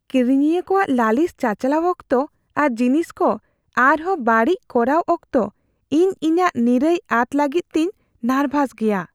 ᱠᱤᱨᱤᱧᱤᱭᱟᱹ ᱠᱚᱣᱟᱜ ᱞᱟᱹᱞᱤᱥ ᱪᱟᱪᱟᱞᱟᱣ ᱚᱠᱛᱚ ᱟᱨ ᱡᱤᱱᱤᱥ ᱠᱚ ᱟᱨᱦᱚᱸ ᱵᱟᱹᱲᱤᱡ ᱠᱚᱨᱟᱣ ᱚᱠᱛᱚ ᱤᱧ ᱤᱧᱟᱹᱜ ᱱᱤᱨᱟᱹᱭ ᱟᱫ ᱞᱟᱜᱤᱫ ᱛᱤᱧ ᱱᱟᱨᱵᱷᱟᱥ ᱜᱮᱭᱟ ᱾